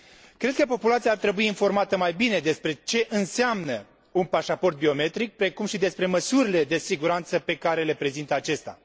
Cred că populația ar trebui informată mai bine despre ce înseamnă un pașaport biometric, precum și despre măsurile de siguranță pe care le prezintă acesta.